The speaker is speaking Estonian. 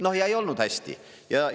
No ja olnud hästi!